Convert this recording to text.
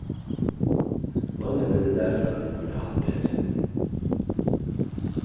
Mange mener derfor at de burde hatt mer.